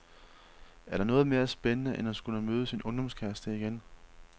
Er der noget mere spændende end at skulle møde sin ungdomskæreste igen.